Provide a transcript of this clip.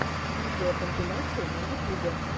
видеокомпиляции на ютюбе